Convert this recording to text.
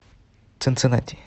цинциннати